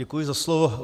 Děkuji za slovo.